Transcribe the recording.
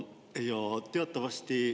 Jaa.